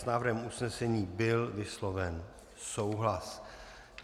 S návrhem usnesení byl vysloven souhlas.